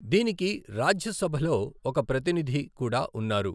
దీనికి రాజ్యసభలో ఒక ప్రతినిధి కూడా ఉన్నారు.